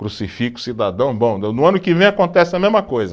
Crucifica o cidadão, bom, no no ano que vem acontece a mesma coisa.